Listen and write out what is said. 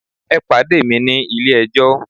E pade mi ni Ile ejó!